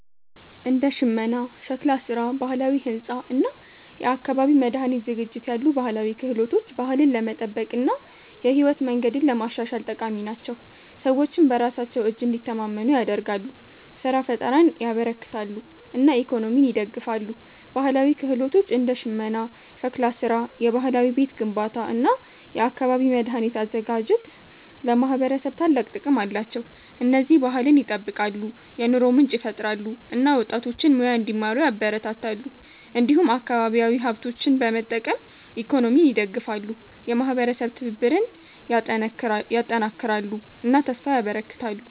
እንደ ሽመና፣ ሸክላ ስራ፣ ባህላዊ ሕንፃ እና የአካባቢ መድኃኒት ዝግጅት ያሉ ባህላዊ ክህሎቶች ባህልን ለመጠበቅ እና የህይወት መንገድን ለማሻሻል ጠቃሚ ናቸው። ሰዎችን በራሳቸው እጅ እንዲተማመኑ ያደርጋሉ፣ ስራ ፍጠርን ያበረክታሉ እና ኢኮኖሚን ይደግፋሉ። ባህላዊ ክህሎቶች እንደ ሽመና፣ ሸክላ ስራ፣ የባህላዊ ቤት ግንባታ እና የአካባቢ መድኃኒት አዘጋጅት ለማህበረሰብ ታላቅ ጥቅም አላቸው። እነዚህ ባህልን ይጠብቃሉ፣ የኑሮ ምንጭ ይፈጥራሉ እና ወጣቶችን ሙያ እንዲማሩ ያበረታታሉ። እንዲሁም አካባቢያዊ ሀብቶችን በመጠቀም ኢኮኖሚን ይደግፋሉ፣ የማህበረሰብ ትብብርን ያጠናክራሉ እና ተስፋ ያበረክታሉ።